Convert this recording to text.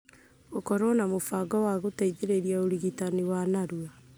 gũkorũo na mũbango wa gũteithĩrĩria ũrigitani wa narua.